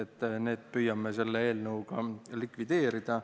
Püüame need puudused selle eelnõuga likvideerida.